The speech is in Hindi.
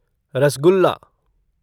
रसगुल्ला